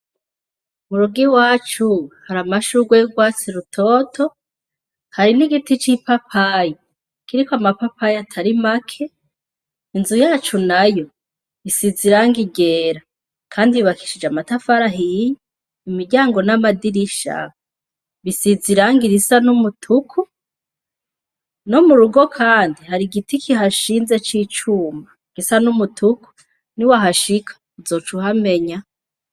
Mu rugi wacu hari amashurwa y'gwatsi rutoto hari n'igiti c'ipapayi kiriko amapapayi atari make inzu yacu na yo isiza iranga igera, kandi bibakishije amatafarahiya imiryango n'amadirisha bisiziranga irisa n'umutuku no murugo kandi hari igiti kihashinze c'icumba gisa n'umutuku ni wahashika uzoca uhamenya.